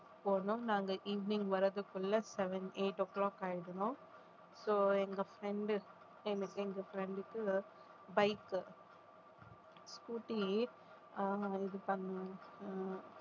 போனோம் நாங்க evening வர்றதுக்குள்ள seven eight o'clock ஆயிடும் so எங்க friend எனக்கு எங்க friend க்கு bike scooty அஹ் இது பண்ணோம்